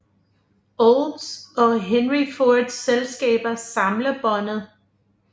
Olds og Henry Fords selskaber samlebåndet